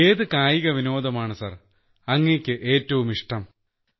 ഏത് കായികവിനോദമാണ് സാർ അങ്ങേയ്ക്ക് ഏറ്റവും ഇഷ്ടം